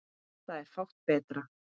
Það er fátt betra.